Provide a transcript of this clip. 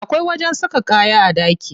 Akwai wajen saka kaya a ɗaki.